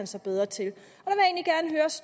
sig bedre til